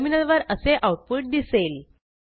टर्मिनलवर असे आऊटपुट दिसेल